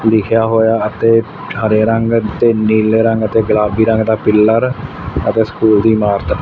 ਲਿਖੇਆ ਹੋਇਆ ਅਤੇ ਹਰੇ ਰੰਗ ਤੇ ਨੀਲੇ ਰੰਗ ਤੇ ਗੁਲਾਬੀ ਰੰਗ ਦਾ ਪਿੱਲਰ ਅਤੇ ਸਕੂਲ ਦੀ ਇਮਾਰਤ--